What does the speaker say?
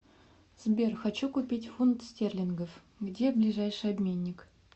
сбер хочу купить фунт стерлингов где ближайший обменник